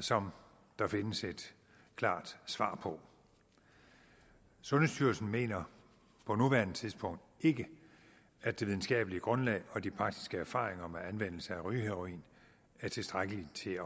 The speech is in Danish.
som der findes et klart svar på sundhedsstyrelsen mener på nuværende tidspunkt ikke at det videnskabelige grundlag og de praktiske erfaringer med anvendelse af rygeheroin er tilstrækkelige til